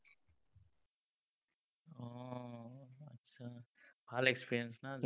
ভাল experience না?